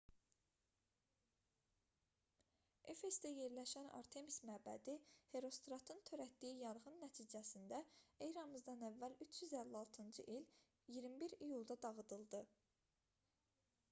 efesdə yerləşən artemis məbədi herostratın törətdiyi yanğın nəticəsində eramızdan əvvəl 356-cı il 21 iyulda dağıdıldı